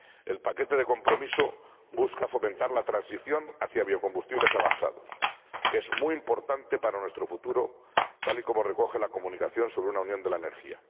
El paquete de compromiso busca fomentar la transición hacia biocombustibles avanzados, que es muy importante para nuestro futuro, tal y como recoge la Comunicación sobre una Unión de la Energía.